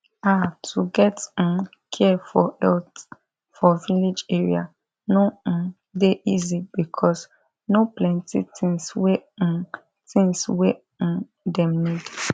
ah to get um care for health for village area no um dey easy because no plenti thing wey um thing wey um dem need